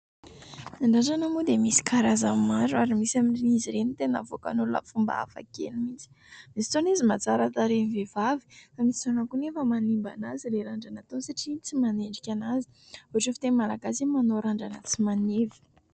Ny randrana moa dia misy karazany maro ary misy amin'izy ireny tena avoakany olona amin'ny fomba hafa kely mihitsy, misy fotoana izy mahatsara tarehy ny vehivavy, fa misy fotoana kosa anefa manimba an'azy ny randrana ataony satria tsy manendrika an'azy, ohatra fiteny malagasy hoe manao randrana tsy maneva.